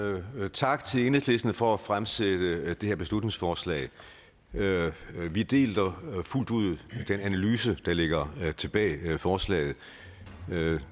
tak til enhedslisten for at fremsætte det her beslutningsforslag vi deler fuldt ud den analyse der ligger bag forslaget